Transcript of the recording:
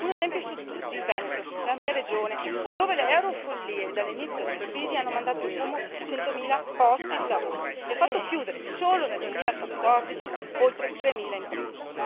Un esempio su tutti il Veneto, la mia regione, dove le eurofollie dall'inizio della crisi hanno mandato in fumo centomila posti di lavoro e fatto chiudere, solo nel 2014, oltre tremila imprese.